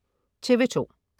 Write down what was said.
TV2: